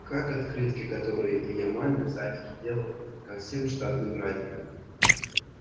как открытки которые илья маме в садике делал ко всем штатным праздникам